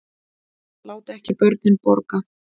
Láti ekki börnin borga